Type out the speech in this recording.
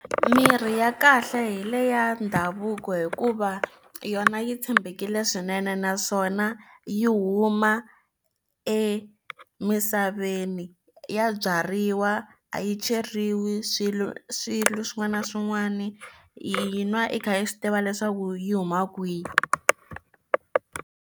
Mirhi ya kahle hi leya ndhavuko hikuva yona yi tshembekile swinene naswona yi huma emisaveni ya byariwa a yi cheriwi swilo swilo swin'wana na swin'wana i yi nwa i kha i swi tiva leswaku yi huma kwihi.